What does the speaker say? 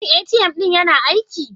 Shin ATM ɗin yana aiki?